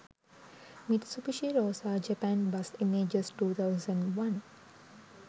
mitsubishi rosa japan bus images 2001